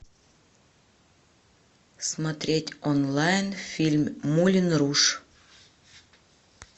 смотреть онлайн фильм мулен руж